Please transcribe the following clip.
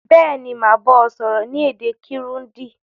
Béèni, màá ba ọ sọ́rọ́ ni èdè Kirundi